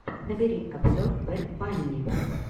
набери обзор бэд банни